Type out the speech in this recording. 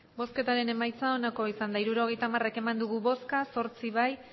hirurogeita hamar eman dugu bozka zortzi bai